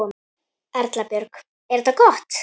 Erla Björg: Er þetta gott?